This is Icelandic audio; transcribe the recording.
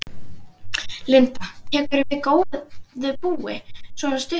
Linda: Tekurðu við góðu búi, svona stuttlega?